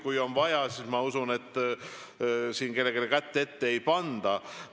Kui on vaja, siis ma usun, et kellelegi kätt ette ei panda.